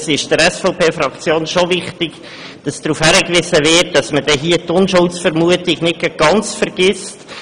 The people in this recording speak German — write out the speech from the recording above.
Der SVP-Fraktion ist es wichtig, dass darauf hingewiesen wird, dass man hierbei die Unschuldsvermutung nicht gerade vollständig vergisst.